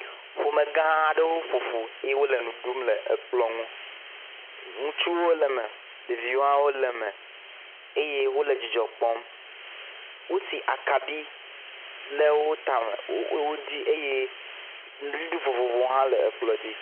Ƒomegã aɖe wo ƒoƒu ye wole nu ɖum le ekplɔ ŋu. Ŋutsuwo le me, ɖeviwo hã wole eme eye wole dzidzɔ kpɔm. Wosi akaɖi le wo tame le wodzi eye nuɖuɖu vovovowo hã le ekplɔ dzi.